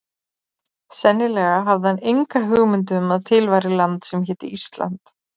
Sennilega hafði hann enga hugmynd um að til væri land sem héti ÍSLAND.